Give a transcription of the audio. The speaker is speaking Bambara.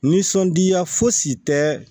Nisɔndiya fosi tɛ